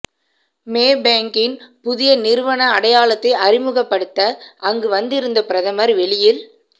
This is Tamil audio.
மேபேங்கின் புதிய நிறுவன அடையாளத்தை அறிமுகப்படுத்த அங்கு வந்திருந்த பிரதமர் வெளியில்